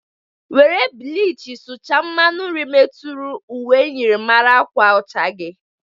Were bịlịchị sụcha mmanụ nri meturu uwe myịrịmara agwa ọcha gi!